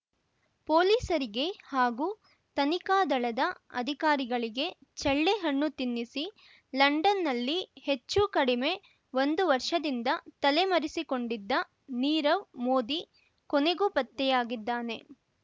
ಪೊಲೀಸರಿಗೆ ಹಾಗೂ ತನಿಖಾ ದಳದ ಅಧಿಕಾರಿಗಳಿಗೆ ಚಳ್ಳೆಹಣ್ಣು ತಿನ್ನಿಸಿ ಲಂಡನ್‌ನಲ್ಲಿ ಹೆಚ್ಚು ಕಡಿಮೆ ಒಂದು ವರ್ಷದಿಂದ ತಲೆಮರೆಸಿಕೊಂಡಿದ್ದ ನೀರವ್ ಮೋದಿ ಕೊನೆಗೂ ಪತ್ತೆಯಾಗಿದ್ದಾನೆ